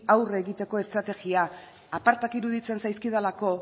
aurre egiteko estrategia apartak iruditzen zaizkidalako